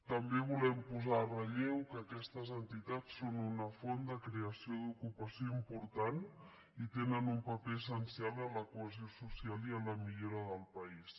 també volem posar en relleu que aquestes entitats són una font de creació d’ocupació important i tenen un paper essencial en la cohesió social i en la millora del país